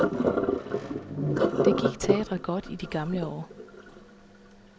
Det gik teatret godt i det gamle år.